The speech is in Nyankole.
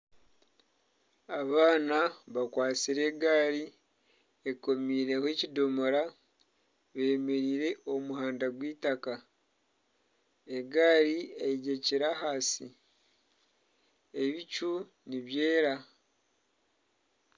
Abaana bakwatsire egaari ekomiireho ekidomora, beemeriire omu muhanda gw'eitaka, egaari eyegyekire ahansi, ebicu nibyera